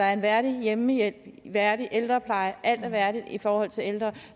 er en værdig hjemmehjælp og en værdig ældrepleje at alt er værdigt i forhold til de ældre